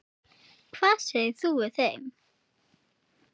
Spilum Rommý og drekkum te.